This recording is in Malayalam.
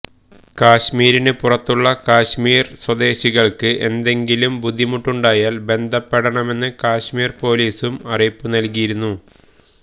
കശ്മീരിന് പുറത്തുള്ള കശ്മീര് സ്വദേശികള്ക്ക് എന്തെങ്കിലും ബുദ്ധിമുട്ടുണ്ടായാല് ബന്ധപ്പെടണമെന്ന് കശ്മീര് പോലീസും അറിയിപ്പ് നല്കിയിരുന്നു